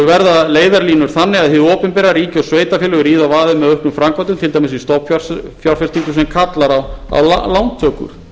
verða leiðarlínur þannig að hið opinbera ríki og sveitarfélög ríða á vaðið með auknum framkvæmdum til dæmis í stofnfjárfestingum sem kallar á lántökur